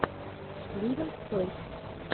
ливинг тойс